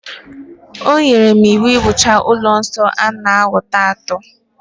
O nyere m iwu, wuchaa ụlọ nsọ a n'ọnwa ato